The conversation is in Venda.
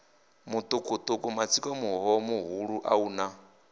mutukutuku matsiko muhoha muhulua una